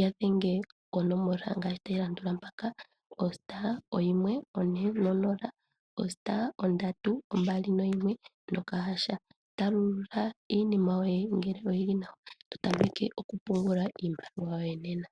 yadhenge ko nomola *140*321# talulula iinima yoye ngele oyili nawa totameke oku pungula iimaliwa yoye nena.